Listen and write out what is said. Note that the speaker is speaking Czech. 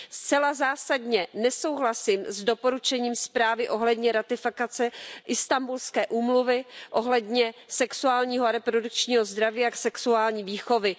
Zcela zásadně nesouhlasím s doporučením zprávy ohledně ratifikace Istanbulské úmluvy ohledně sexuálního a reprodukčního zdraví a sexuální výchovy.